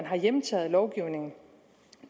har hjemtaget lovgivning